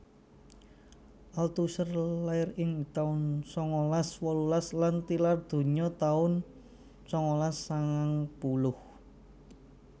Althusser lair ing taun sangalas wolulas lan tilar donya taun sangalas sangang puluh